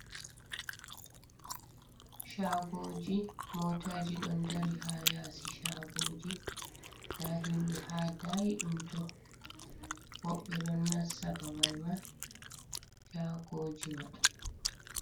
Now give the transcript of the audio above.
Shagoji, motaji ɗon dari ha yasi shagoji, nda himɓe ha daayiɗum tooh, woɓɓe ɗon nassa babal man shagoji man.